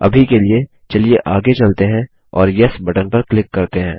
अभी के लिए चलिए आगे चलते है और येस बटन पर क्लिक करते है